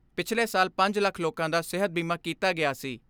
ਪਿਛਲੇ ਸਾਲ ਪੰਜ ਲੱਖ ਲੋਕਾਂ ਦਾ ਸਿਹਤ ਬੀਮਾ ਕੀਤਾ ਗਿਆ ਸੀ।